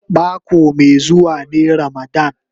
Mako mai zuwa ne ramadan.